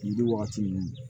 Yiri wagati ninnu